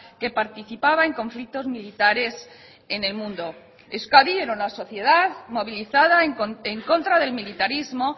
que participaba en conflictos militares en el mundo euskadi era una sociedad movilizada en contra del militarismo